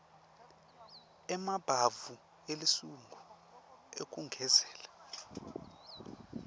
emabhavu esilungu ekugezela